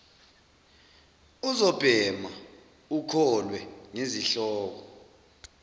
uzobhema ukholwe ngezihloko